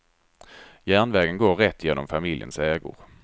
Järnvägen går rätt igenom familjens ägor.